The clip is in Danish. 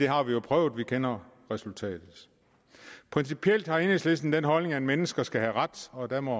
har vi prøvet og vi kender resultatet principielt har enhedslisten den holdning at mennesker skal have ret og der må